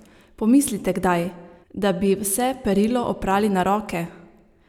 Pomislite kdaj, da bi vse perilo oprali na roke?